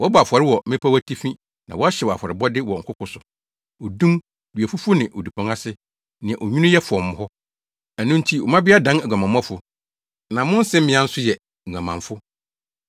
Wɔbɔ afɔre wɔ mmepɔw atifi na wɔhyew afɔrebɔde wɔ nkoko so: odum, duafufu ne odupɔn ase, nea onwini yɛ fɔmm hɔ. Ɛno nti, wo mmabea dan aguamammɔfo na mo nsemmea nso yɛ nguamanfo.